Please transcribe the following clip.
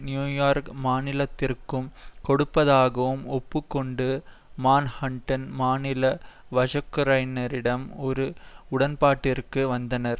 New York மாநிலத்திற்கும் கொடுப்பதாகவும் ஒப்பு கொண்டு மான்ஹட்டன் மாநில வழக்குரைஞரிடம் ஓர் உடன்பாட்டிற்கு வந்தனர்